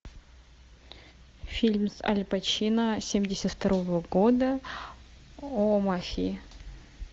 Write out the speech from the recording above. фильм с аль пачино семьдесят второго года о мафии